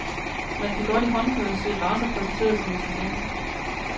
Man kan godt i håndbøger se racer præsenteret som intelligente.